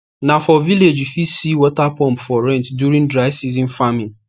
na for village u fit see water pump for rent during dry season farming